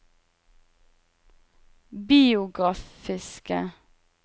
biografiske